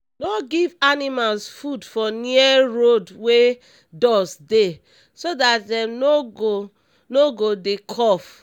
no give animals food for near road wey dust dey so dat dem no go no go dey cough